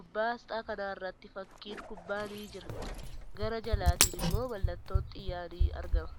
Gubbaa aasxaa kanaarratti fakkiin kubbaa ni jira. Gara jalaatin immoo mallattoon xiyyaa ni argama.